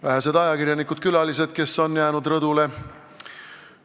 Vähesed ajakirjanikud-külalised, kes on rõdule jäänud!